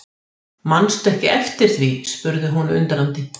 Mannstu ekki eftir því spurði hún undrandi.